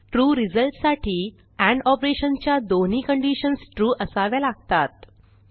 true रिझल्टसाठी and operation च्या दोन्ही कंडिशन्स ट्रू असाव्या लागतात